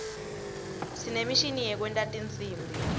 sinemishini yekwenta tinsimbi